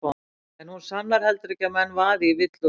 En hún sannar heldur ekki að menn vaði í villu og svíma.